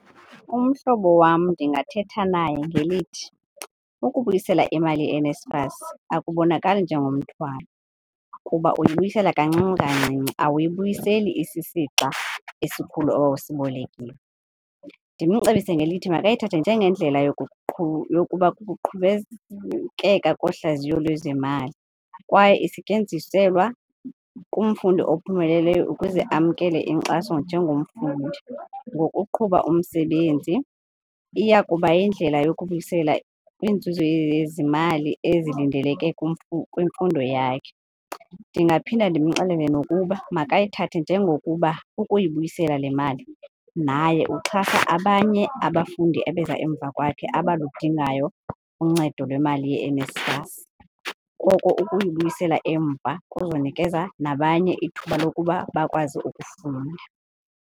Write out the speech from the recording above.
Umhlobo wam ndingathetha naye ngelithi, ukubuyisela imali yeNSFAS akubonakali njengomthwalo kuba uyibuyisela kancini kancinci, awuyibuyiseli isisixa esikhulu owawusibolekile. Ndimcebise ngelithi makayithathe njengendlela yokuba kohlaziyo lwezemali kwaye isetyenziselwa kumfundi ophumeleleyo ukuze amkele inkxaso njengomfundi. Ngokuqhuba umsebenzi iya kuba yindlela yokubuyisela kwinzuzo yezimali ezilindeleke kwimfundo yakhe. Ndingaphinda ndimxelele nokuba makayithathe njengokuba ukuyibuyisela le mali naye uxhasa abanye abafundi abeza emva kwakhe abalidingayo uncedo lwemali yeNSFAS, koko ukuyibuyisela emva kuzonikeza nabanye ithuba lokuba bakwazi ukufunda.